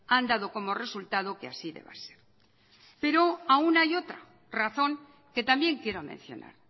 han dado como resultado que así deba ser pero aún hay otra razón que también quiero mencionar